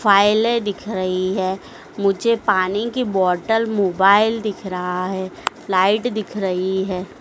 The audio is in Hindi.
फ़ाइलें दिख रही है मुझे पानी की बॉटल मोबाइल दिख रहा है लाइट दिख रही है।